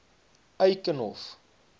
eikenhof